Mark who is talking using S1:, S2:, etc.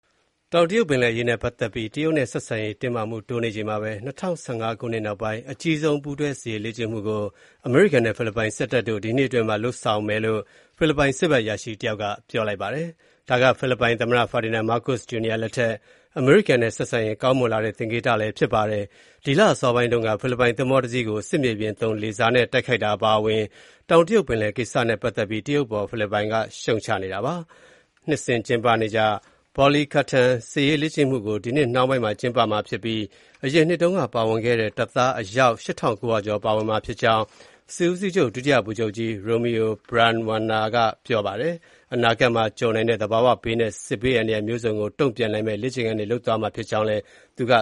S1: တောင်တရုတ်ပင်လယ်အရေးနဲ့ ပတ်သက်ပြီး တရုတ်နဲ့ ဆက်ဆံရေး တင်းမာမှုတိုးနေချိန်မှာပဲ ၂၀၁၅ ခုနှစ်နောက်ပိုင်း အကြီးဆုံး ပူးတွဲစစ်ရေးလေ့ကျင့်မှုကို အမေရိကန်နဲ့ ဖိလစ်ပိုင်စစ်တပ်တို့ ဒီနှစ်တွင်းမှာ လုပ်ဆောင်မှာဖြစ်ကြောင်း ဖိလစ်ပိုင်စစ်ဘက်အရာရှိတယောက်က ပြောပါတယ်။ ဒါက ဖိလစ်ပိုင်သမ္မတ Ferdinand Marcos Jr လက်ထက် အမေရိကန်နဲ့ ဆက်ဆံရေးကောင်းမွန်လာတဲ့ သင်္ကေတလည်း ဖြစ်ပါတယ်။ ဒီလအစောပိုင်းတုန်းက ဖိလစ်ပိုင်သင်္ဘောတစီးကို စစ်မြေပြင်သုံး လေဆာနဲ့ တိုက်ခိုက်တာအပါအဝင် တောင်တရုတ်ပင်လယ်ကိစ္စနဲ့ပတ်သက်ပြီး တရုတ်အပေါ် ဖိလစ်ပိုင်က ရှုတ်ချနေတာပါ။ နှစ်စဉ်ကျင်းပနေကျ Balikatan စစ်ရေးလေ့ကျင့်မှုကို ဒီနှစ်နှောင်းပိုင်းမှာ ကျင်းပမှာ ဖြစ်ပြီး အရင်နှစ်တုန်းကပါဝင်ခဲ့တဲ့ တပ်သား အယောက် ၈,၉၀၀ ကျော် ပါဝင်မှာ ဖြစ်ကြောင်း စစ်ဦးစီးချုပ် ဒုတိယဗိုလ်ချုပ်ကြီး Romeo Brawner က ပြောပါတယ်။ အနာဂတ်မှာ ကြုံနိုင်တဲ့ သဘာဝဘေးနဲ့ စစ်ဘေးအန္တရာယ်မျိုးစုံကို တုန့်ပြန်နိုင်မယ့် လေ့ကျင့်ခန်းတွေ လုပ်သွားမှာ ဖြစ်ကြောင်းလည်း သူက